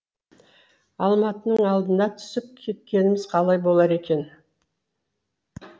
алматының алдына түсіп кеткеніміз қалай болар екен